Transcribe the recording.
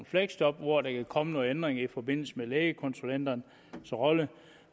fleksjob og hvor der kan komme nogle ændringer i forbindelse med lægekonsulenternes rolle